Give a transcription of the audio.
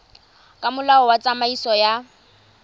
ka molao wa tsamaiso ya